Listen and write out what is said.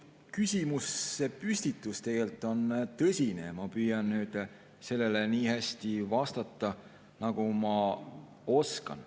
See küsimuse püstitus on tõsine ja ma püüan sellele vastata nii hästi, nagu ma oskan.